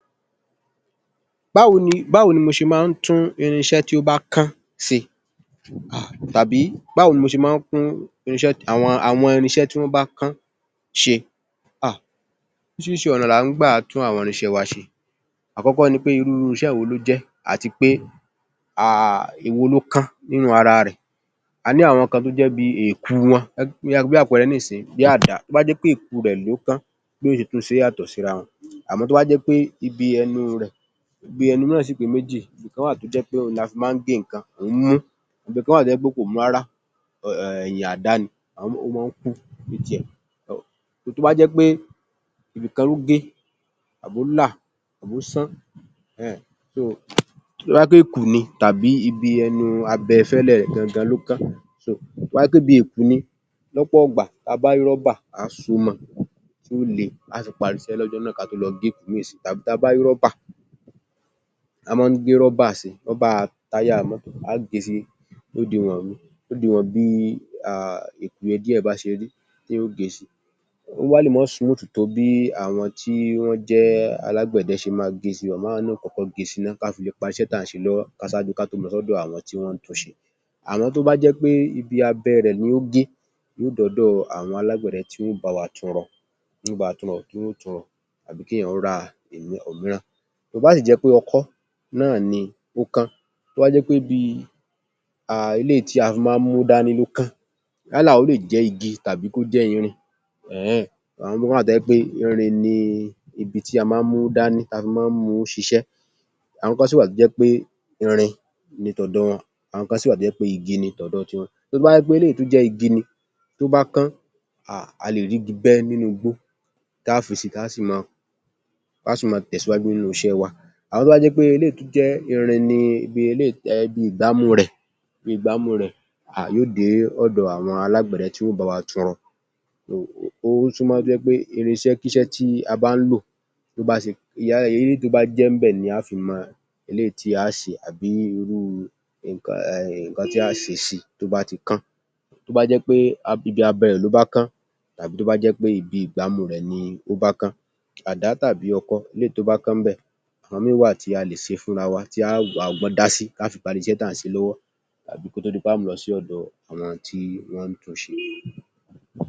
Báwo ni mo ṣe máa ń tún àwọn irinṣẹ́ tó bá kán ṣe? Oríṣiríṣi ọ̀nà ni à ń gbà tún àwọn irinṣẹ́ wa ṣe. Àkọ́kọ́ ni pé irú irinṣẹ́ wọ ló jé àti pé ewo loh kan nínú ara rè. A ní àwọn kan tó jẹ́ bí i èku wọn bí àpẹẹrẹnísìnyí bí àdá, tó bá jẹ́ pé èku rẹ̀ ló kán béèyàn ó ṣe tún un ṣe yàtọ̀ síra wọn. Àmọ́ tó bá jẹ́ pé ibi ẹnu rẹ̀, ibi ẹnu náà sì pé méjì. Ìkan wà tó jẹ́ pé òhun la fi máa nh gé nǹkan, òhún mú. Ibi kan wà tó jẹ́ pé kò mú rárá, ti àdá ni, ó máa ń kú. Tó bá jẹ́ pé ibì kan ló gé àbólà àbósán, tó bá jẹ́ pé èku ni tàbi ibi abẹfẹ́lẹ́ rẹ̀ gan-an gan-an ló kán, tó bá jẹ́ pé ibi èkù ni lọ́pọ̀ ìgbà, tí a bá rí rọ́bà kí á so ó mọ́ ọn kí o le, á sì parí isẹ́ lọ́jọ́ náà ká tó lọ fi míì sí i tàbí ta bá rí rọ́bà. A máa ń gé rọ́bà sí i; rọ́bà táyà mọ́tò, á ge sí i lódiwọ̀n bí i èkù yẹn díẹ̀ bá ṣe rí, èèyàn ó ge sí i. Ó wá lè má smooth tó bí àwọn tí wọ́n jẹ́ alágbẹ̀dẹ ṣe máa ń ge sí i. Àmọ́ èèyàñ ma kọ́kọ́ ge si ná ká fi le parí iṣẹ́ tí à ń ṣe lọ́wọ́ ṣáájú ká tó lọ s’ọ́dọ̀ àwọn tí wọ́n ń tunṣe. Àmọ́ tó bá jẹ́ pé ibi abẹ́ rẹ̀ ni ó gé, èèyàn ó d’ọ́dọ̀ àwọn alágbẹ̀dẹ tí wọ́n ó bá wa tun rọ, kí wọ́n ó tun rọ àbí kí èèyàn ra òmíràn. Tó bá sì jẹ́ wí pé ọkọ́ náà ni ó kán, tó bá jẹ́ wí pé ibi haa eléyìí tí a máa ń múdání ló kán yálà ó lè jẹ́ igi tàbí kó jẹ́ irin ehn, àwọn kan wà tó jẹ́ wí pé irin ni ibi tí a máa ń múdání tí a fi máa ń mu ú ṣiṣẹ́. Àwọn kan sì wà tó jẹ́ wí pé irin ni t’ọ̀dọ wọn. Àwọn kan sì wà tó jẹ́ igi ni t’ọ̀dọ ti wọn. Tó bá wí jẹ́ pé eléyìí tó jẹ́ igi ni, tó bá kán a lè rígi bẹ́ nínú igbó tá fi sí i tá sì máa tẹ̀síwájú nínú iṣẹ́ wa. Àmọ́jẹ́ tó bá jẹ́ wí pé eléyìí tó bá irin ni irin ló jẹ́ ibi ìgbá mú rẹ̀, èèyàn ó dè é ọ̀dọ̀ àwọn alágbẹ̀dẹ tí wọ́n ó bá wa tun rọ. Ó súnmọ́ pé irinṣẹ́ tí a bá ń lò, eléyìí tó bá jẹ́ ń bẹ̀ ni á fi mọ eléyìí tí a á ṣe àbí irú nǹkan huu nǹkan tí a á ṣe sí i tó bá ti kán. Tó bá jẹ́ pé ibi abẹ́ rẹ̀ ló bá kán tàbí tó bá jẹ́ pé ibi ìgbámú rẹ̀ ni ó bá kán, àda tàbí ọkọ́ eléyìí tó bá kán ń bẹ̀, àwọn míì wà tí a lè ṣẹ fúnra wa tih a á wà á ọbọ́n dá sí ká fi parí iṣẹ́ tá ń ṣẹ lọ́wọ́ tàí kó tó di pé a á lọ sí ọ̀dọ àwọn tí ọ́ ń tunṣe.